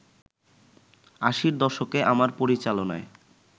আশির দশকে আমার পরিচালনায়